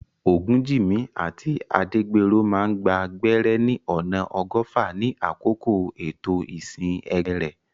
Ogunjimi àti Adegbenro máa gba gbẹ́rẹ́ ní ọ̀nà ọgọ́fà ní àkókò ètò ìsìn ẹgbẹ́ rẹ̀.